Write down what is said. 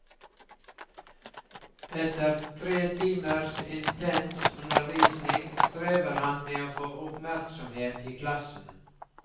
Etter tre timers intens undervisning, strever han med å få oppmerksomhet i klassen.